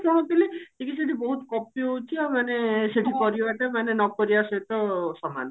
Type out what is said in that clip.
ଶୁଣୁଥିଲି ଯେ କି ସେଠି ବହୁତ copy ହଉଛି ଆଉ ମାନେ ସେଠି କରିବା କଥା ନକରିବା ସହିତ ସମାନ